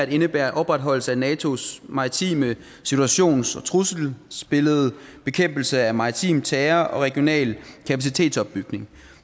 indebærer opretholdelse af natos maritime situations og trusselsbillede bekæmpelse af maritim terror og regional kapacitetsopbygning